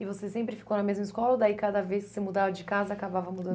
E você sempre ficou na mesma escola ou daí cada vez que você mudava de casa, acabava mudando